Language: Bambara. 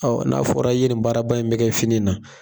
Ɔ n'a fɔra i ye ni baaraba in bɛ kɛ fini na.